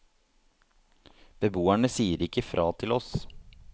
Beboerne sier ikke fra til oss.